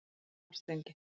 Svartsengi